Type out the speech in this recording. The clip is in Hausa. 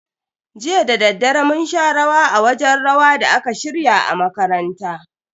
Jiya dadaddare mun sha rawa a wajen rawa da aka shirya a makaranta.